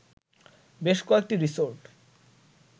বেশ কয়েকটি রিসোর্ট